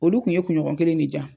Olu tun ye kuɲɔgɔn kelen ne di yan.